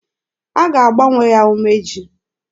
A ga-agbanwe ya umeji.